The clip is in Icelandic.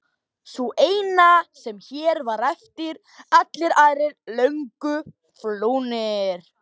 Sú eina sem hér var eftir, allir aðrir löngu flúnir.